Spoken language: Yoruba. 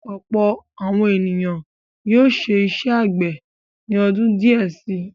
Ọ̀pọ̀ àwọn ènìyàn yóò ṣe iṣẹ́ àgbẹ̀ ni ọdún díẹ̀ si.